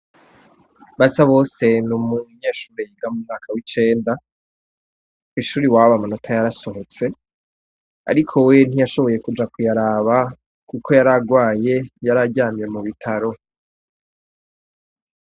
Basabose ni umunyeshure yiga mu mwaka w'icenda. Kw'ishure iwabo amanota yarasohotse. Ariko we ntiyashoboye kuja kuyaraba kuko yari agwaye, yari aryamye mu bitaro.